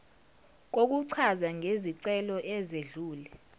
kokuchaza ngezicelo ezedlule